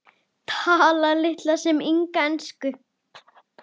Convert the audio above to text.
Talar litla sem enga ensku.